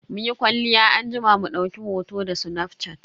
Muyi kwalliya anjima mu dauki hoto da snafshat.